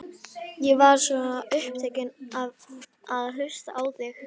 Ég var svo upptekinn af að hlusta á þig.